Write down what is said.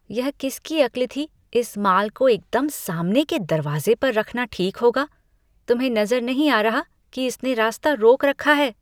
यह किसकी अक्ल थी कि इस माल को एकदम सामने के दरवाज़े पर रखना ठीक होगा? तुम्हें नज़र नहीं आ रहा कि इसने रास्ता रोक रखा है?